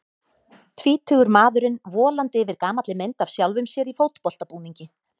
Tvítugur maðurinn volandi yfir gamalli mynd af sjálfum sér í fótboltabúningi.